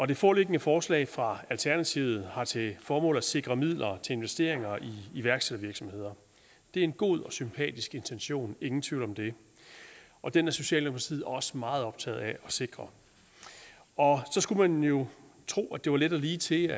det foreliggende forslag fra alternativet har til formål at sikre midler til investeringer i iværksættervirksomheder det er en god og sympatisk intention ingen tvivl om det og den er socialdemokratiet også meget optaget af at sikre så skulle man jo tro at det var let og lige til